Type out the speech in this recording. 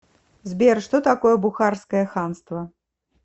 сбер что такое бухарское ханство